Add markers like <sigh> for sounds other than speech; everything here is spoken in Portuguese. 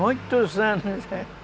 Muitos anos <laughs>